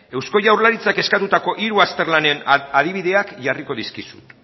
eusko jaurlaritzak eskatutako hiru azterlanen adibideak jarriko dizkizut